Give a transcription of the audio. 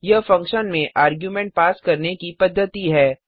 यह फंक्शन में argument pass करने की पद्धति है